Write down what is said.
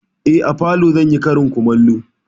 Eh, a falo zan yi karin kumallo.